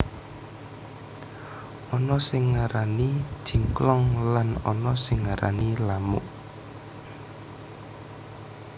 Ana sing ngarani jingklong lan ana sing ngarani lamuk